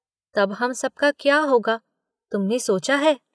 तब हम सब का क्या होगा, तुमने सोचा है?